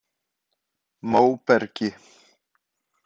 Móbergi